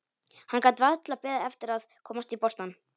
Hann gat varla beðið eftir að komast í boltann.